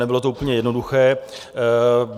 Nebylo to úplně jednoduché.